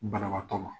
Banabaatɔ ma